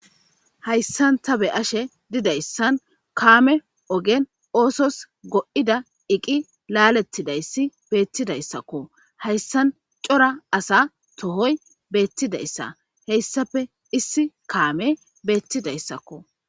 Hayssan ta be ashe didayssan kaame ogen oosos go7ida iqi laalettidayssi beettidayssakko hayssan cora asa tohoy beettidayssa heyssafe issi kaame beettidayssakko.